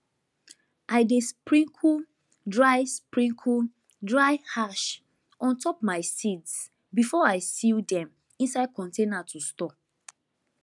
i dey sprinkle dry sprinkle dry ash on top my seeds before i seal dem inside container to store